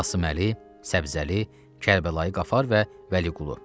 Qasıməli, Səbzəli, Kərbəlayı Qafar və Vəliqulu.